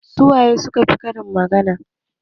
Su waye su ka fi yin karin magana?